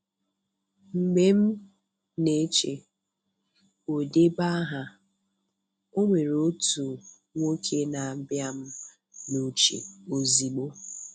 Mgbe m na-eche "odebeaha" onwere otu nwoke na-abịa m n'uche ozigbo.